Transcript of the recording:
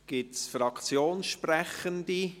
Gibt es Fraktionssprechende?